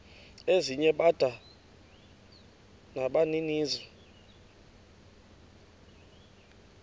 ezinye bada nabaninizo